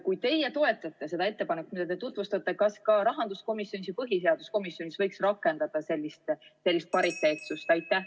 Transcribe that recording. Kuna teie toetate seda ettepanekut, mida te tutvustate, siis küsin: kas ka rahanduskomisjonis ja põhiseaduskomisjonis võiks rakendada sellist pariteetsust?